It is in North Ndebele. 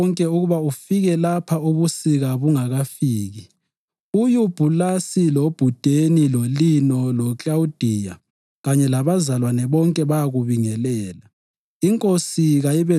Zama ngamandla akho wonke ukuba ufike lapha ubusika bungakafiki. UYubhulasi, loPhudeni, loLino, loKlawudiya kanye labazalwane bonke bayakubingelela.